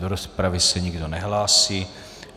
Do rozpravy se nikdo nehlásí.